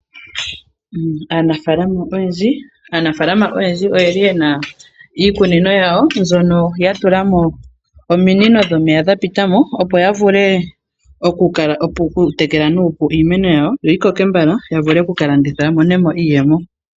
Aanafaalama oyendji oye li ye na iikunino yawo mbyono ya tula mo ominino dhomeya dha pita mo, opo ya vule oku tekela nuupu iimeno yawo, opo yi koke mbala ya vule oku ka landitha ya mone mo iiyemo.